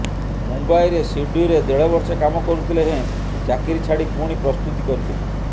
ମୁମ୍ବାଇରେ ସିଡ୍ବିରେ ଦେଢ଼ବର୍ଷ କାମ କରୁଥିଲେ ହେଁ ଚାକିରି ଛାଡ଼ି ପୁଣି ପ୍ରସ୍ତୁତି କରିଥିଲି